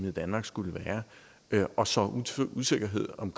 i danmark skulle være og sådan sår usikkerhed om